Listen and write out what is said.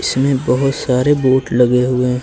इसमें बहुत सारे बोर्ड लगे हुए हैं।